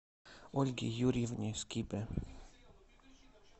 ольге юрьевне скибе